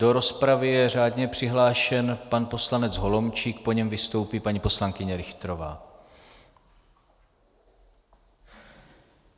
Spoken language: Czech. Do rozpravy je řádně přihlášen pan poslanec Holomčík, po něm vystoupí paní poslankyně Richterová.